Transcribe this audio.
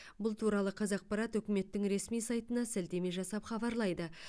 бұл туралы қазақпарт үкіметтің ресми сайтына сілтеме жасап хабарлайды